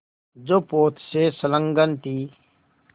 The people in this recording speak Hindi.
जो पोत से संलग्न थी